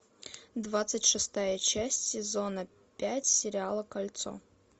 двадцать шестая часть сезона пять сериала кольцо